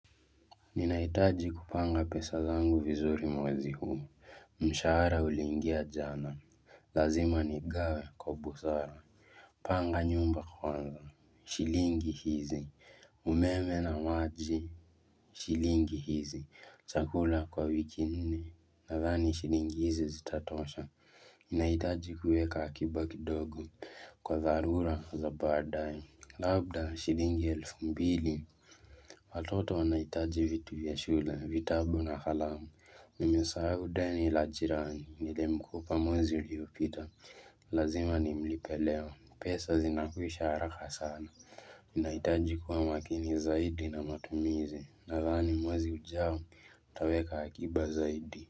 Ninahitaji kupanga pesa zangu vizuri mwezi huu. Mshahara uliingia jana Lazima nigawe kwa busara Panga nyumba kwanza Shilingi hizi umeme na maji Shilingi hizi chakula kwa wiki nne, nadhani shilingi hizi zitatosha. Ninahitaji kuweka akiba kidogo kwa dharura za baadaye, labda shilingi elfu mbili. Watoto wanahitaji vitu vya shule, vitabu na kalamu. Nimesahau deni la jirani. Nilimkopa mwezi uliopita. Lazima nimlipe leo. Pesa zinakwisha haraka sana. Ninahitaji kuwa makini zaidi na matumizi. Nadhani mwezi ujao nitaweka akiba zaidi.